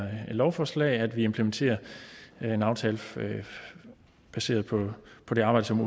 her lovforslag nemlig at vi implementerer en aftale baseret på på det arbejde som